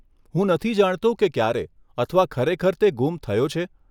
હું નથી જાણતો કે ક્યારે અથવા ખરેખર તે ગુમ થયો છે.